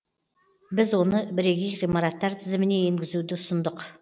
біз оны бірегей ғимараттар тізіміне енгізуді ұсындық